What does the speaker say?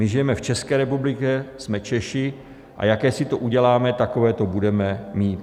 My žijeme v České republice, jsme Češi, a jaké si to uděláme, takové to budeme mít.